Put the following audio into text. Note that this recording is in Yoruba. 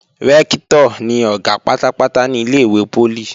Rẹ́ktọ̀ ni Ọ̀gá pátápátá ní ilé-ìwé poli